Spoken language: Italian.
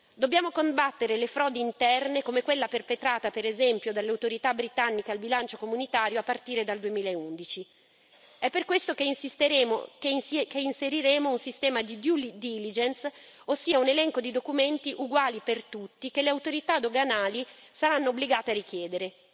Dobbiamo combattere le frodi interne come quella perpetrata, per esempio, dalle autorità britanniche al bilancio comunitario a partire dal 2011 è per questo che inseriremo un sistema di due diligence ossia un elenco di documenti uguali per tutti che le autorità doganali saranno obbligate a richiedere.